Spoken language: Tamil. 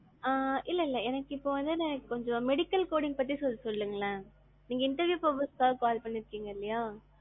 ஆஹ் இல்ல, இல்ல இப்போ வந்து எனக்கு கொஞ்சம் medical coding பத்தி சொல்லுங்களே? நீங்க interview purpose குகாண்டி call பண்ணிருக்கீங்க இல்லைங்களா.